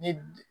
Ne